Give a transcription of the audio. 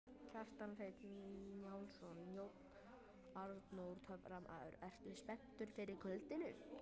Kjartan Hreinn Njálsson: Jón Arnór töframaður, ertu spenntur fyrir kvöldinu?